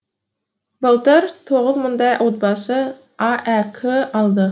былтыр тоғыз мыңдай отбасы аәк алды